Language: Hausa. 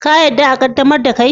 Ka yarda a qaddamar da kei?